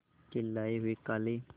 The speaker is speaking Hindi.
के लाए हुए काले